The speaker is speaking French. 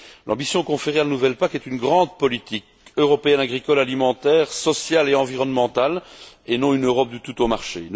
L'ambition conférée à la nouvelle PAC est celle d'une grande politique européenne agricole, alimentaire, sociale et environnementale, et non d'une Europe du tout au marché.